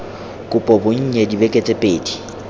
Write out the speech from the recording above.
kopo bonnye dibeke tse pedi